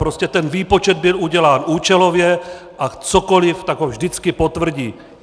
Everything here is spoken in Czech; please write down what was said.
Prostě ten výpočet byl udělán účelově a cokoli, tak ho vždycky potvrdí.